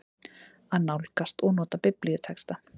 AÐ NÁLGAST OG NOTA BIBLÍUTEXTA